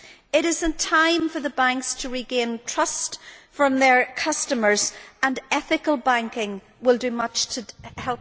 It is time for the banks to regain trust from their customers and ethical banking will do much to help this.